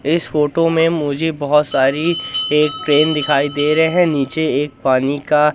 इस फोटो में मुझे बहोत सारी एक ट्रेन दिखाई दे रहे हैं नीचे एक पानी का--